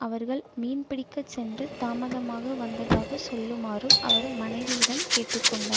அவர்கள் மீன் பிடிக்க சென்று தாமதமாக வந்ததாக சொல்லுமாறும் அவர் மனைவியிடம் கேட்டு கொண்டார்